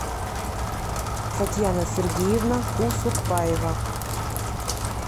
татьяна сергеевна кусукпаева